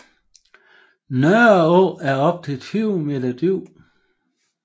Nørreå er op til 20 meter dyb